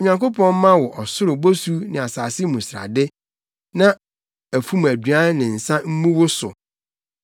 Onyankopɔn mma wo ɔsoro bosu ne asase mu srade, na afum aduan ne nsa mmu wo so.